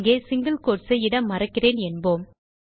இங்கே single quotes ஐ இட மறக்கிறேன் என்போம்